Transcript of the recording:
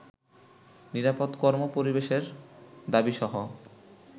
নিরাপদ কর্ম-পরিবেশের দাবীসহ